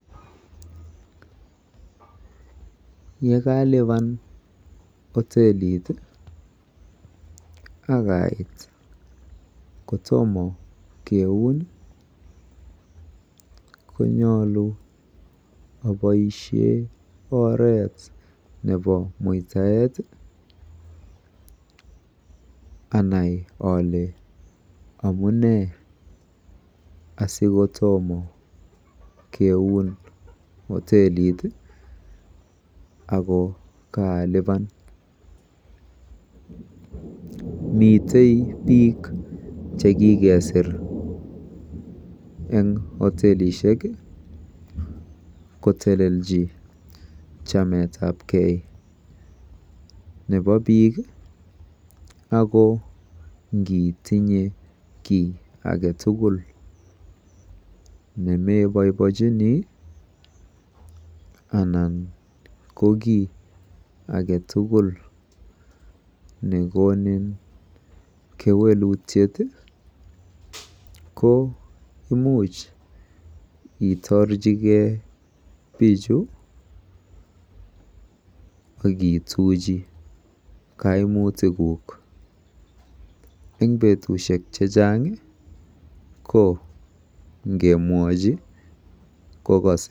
Yekaliba hotelit tii ak ait kotomo keun konyoluu oboishen oret nebo muitaet anai amunee sikotomo keun hotelit ako kalipan. Miten bik chekikersir en hotelishek kotelelchi chametabgee nebo bik ako nkitinye kii agetukul nemeboiechinii ana ko kiit agetukul nekonin kewelutyet tii ko imuch intorchigee bichu ak ituchi koimutik kuk en betushek chechang ko ingemwochi kokose.